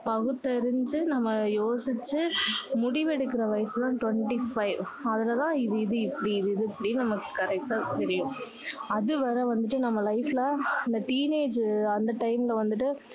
பகுத்தறிஞ்சு நம்ம யோசிச்சு முடிவு எடுக்கிற வயசு தான் twenty five அதுல தான் இது இது இப்படி இது இது இப்படின்னு நமக்கு correct டா தெரியும் அது வரை வந்துட்டு நம்ம life ல இந்த teenage அந்த time ல வந்துட்டு